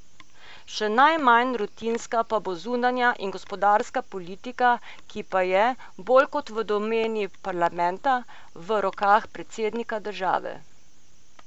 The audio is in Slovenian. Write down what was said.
Še najmanj rutinska pa bo zunanja in gospodarska politika, ki pa je, bolj kot v domeni parlamenta, v rokah predsednika države.